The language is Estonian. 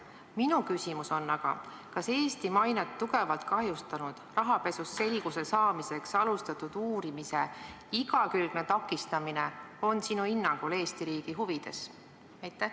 Minu küsimus on aga selline: kas Eesti mainet tugevalt kahjustanud rahapesus selguse saamiseks alustatud uurimise igakülgne takistamine on sinu hinnangul Eesti riigi huvides?